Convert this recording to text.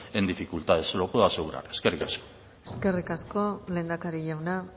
en dificultades se lo puedo asegurar eskerrik asko eskerrik asko lehendakari jauna